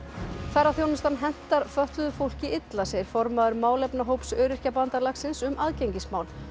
ferðaþjónustan hentar fötluðu fólki illa segir formaður málefnahóps Öryrkjabandalagsins um aðgengismál